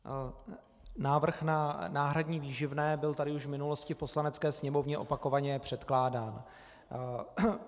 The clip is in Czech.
Návrh na náhradní výživné byl tady už v minulosti v Poslanecké sněmovně opakovaně předkládán.